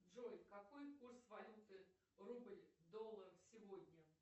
джой какой курс валюты рубль доллар сегодня